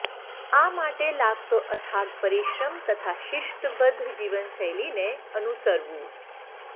આ માટે લાગતો અથાગ પરીશ્રમ તથા શિસ્તબધ્ધ જીવનશૈલી ને અનુસરવુ